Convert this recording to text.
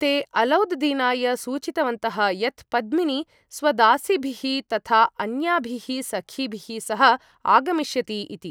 ते अलौद् दीनाय सूचितवन्तः यत् पद्मिनी स्वदासीभिः तथा अन्याभिः सखीभिः सह आगमिष्यति इति।